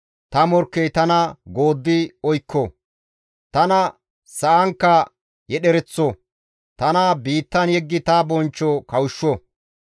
ta morkkey tana gooddi oykko; tana sa7ankka yedhereththo; tana biittan yeggidi ta bonchcho kawushsho.